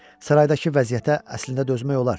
Saraydakı vəziyyətə əslində dözmək olar.